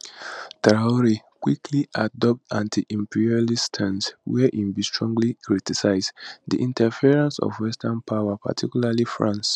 traor quickly adopt antiimperialist stance wia im bin strongly criticise di interference of western powers particularly france